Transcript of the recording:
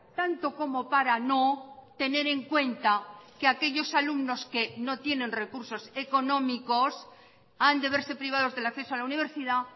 tanto como para no tener en cuenta que aquellos alumnos que no tienen recursos económicos han de verse privados del acceso a la universidad